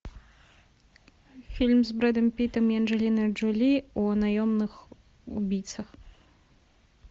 фильм с бредом питом и анджелиной джоли о наемных убийцах